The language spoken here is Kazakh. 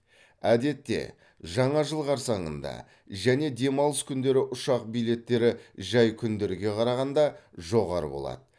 әдетте жаңа жыл қарсаңында және демалыс күндері ұшақ билеттері жай күндерге қарағанда жоғары болады